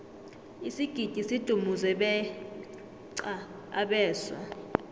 isigidi sidumuze beqa abeswa